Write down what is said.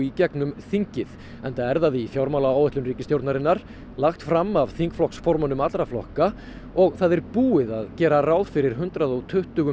gegnum þingið enda er það í fjármálaáætlun ríkisstjórnarinnar lagt fram af þingflokksformönnum allra flokka og búið að gera ráð fyrir hundrað og tuttugu